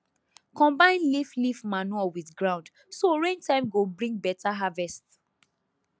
combine leaf leaf manure with ground so rain time go bring beta harvest